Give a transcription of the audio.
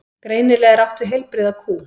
Greinilega er átt við heilbrigða kú.